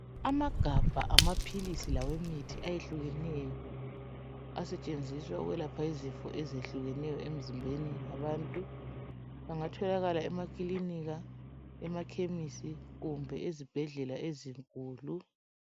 Amagabha awemithi lawamapills ayehlukeneyo asetshenziswa ukuyelapha izifo ezehlukenyo emzimbeni yabantu engatholaka emaclinikha emaphamacy kumbe ezibhedlela ezinkulu